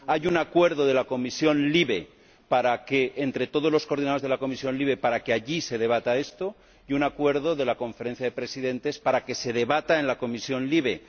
Hay un acuerdo en la Comisión LIBE, de todos los coordinadores de la Comisión LIBE, para que allí se debata esto, y un acuerdo de la Conferencia de Presidentes para que se debata en la Comisión LIBE.